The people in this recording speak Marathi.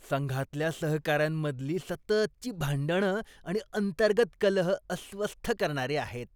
संघातल्या सहकाऱ्यांमधली सततची भांडणं आणि अंतर्गत कलह अस्वस्थ करणारे आहेत.